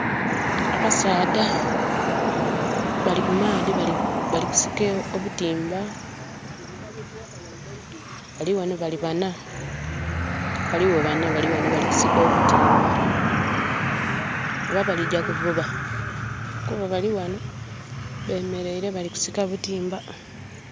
Abasaadha bali kumaadhi balikusika obutiimba. Balighano bali bana. Balighano bana balikusika obutiimba. Oba balijja kuvuba? Kuba balighano bemeleire. Bali kusika butiimba.